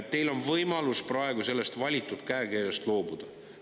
Teil on võimalus praegu sellest valitud käekirjast loobuda.